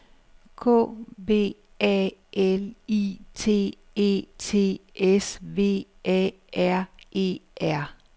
K V A L I T E T S V A R E R